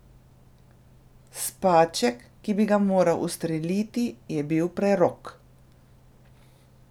Spaček, ki bi ga moral ustreliti, je bil prerok.